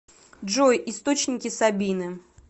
джой источники сабины